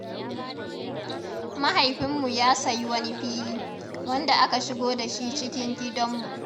Mahaifinmu ya sayi wani fili, wanda aka shigo da shi cikin gidanmu.